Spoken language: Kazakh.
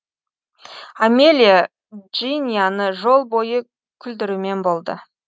амелия джинияны жол бойы күлдірумен болды